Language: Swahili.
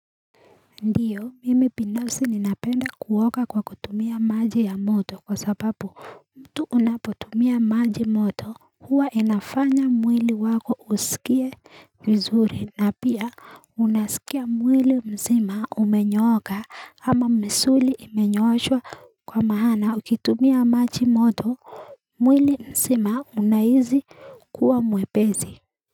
Ndiyo mimi binafsi ninapenda kuoga kwa kutumia maji ya moto kwa sababu tu unapotumia maji moto huwa inafanya mwili wako usikie vizuri na pia unasikia mwili mzima umenyooka ama misuli imenyooshwa kwa maana ukitumia maji moto mwili mzima unahisi kuwa mwepesi.